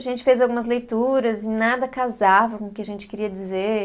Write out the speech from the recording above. A gente fez algumas leituras e nada casava com o que a gente queria dizer.